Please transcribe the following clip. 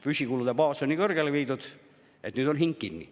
Püsikulude baas on nii suureks viidud, et nüüd on hing kinni.